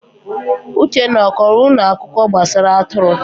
Uchenna, ọ kọrọ unu akụkọ gbasara atụrụ?